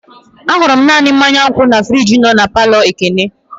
Ahụrụ m naanị mmanya ngwo na friji nọ na palọ Ekene.